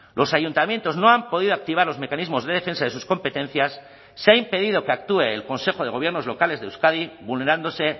los ayuntamientos no han podido activar los mecanismos de defensa de sus competencias se ha impedido que actúe el consejo de gobiernos locales de euskadi vulnerándose